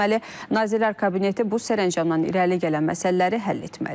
Nazirlər Kabineti bu sərəncamdan irəli gələn məsələləri həll etməlidir.